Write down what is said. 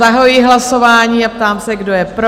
Zahajuji hlasování a ptám se, kdo je pro?